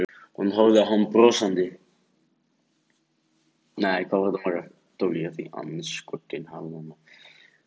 Hún horfir á hann brosandi.